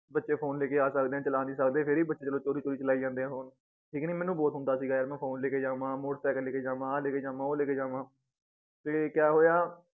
ਬੱਚੇ phone ਲੇਕੇ ਆ ਸਕਦੇ ਏ ਚਲਾ ਨੀ ਸਕਦੇ ਫੇਰ ਈ ਬੱਚੇ ਚਲੋ ਚੋਰੀ ਚੋਰੀ ਚਲਾਈ ਜਾਂਦੇ ਏ phone ਠੀਕ ਨੀ ਮੈਨੂੰ ਬਹੁਤ ਹੁੰਦਾ ਸੀਗਾ ਯਾਰ ਮੈ phone ਲੇਕੇ ਜਾਵਾਂ motor cycle ਲੇਕੇ ਜਾਵਾਂ ਆ ਲੇਕੇ ਜਾਵਾਂ ਉਹ ਲੇਕੇ ਜਾਵਾਂ